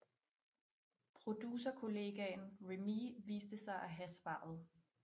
Producerkollegaen Remee viste sig at have svaret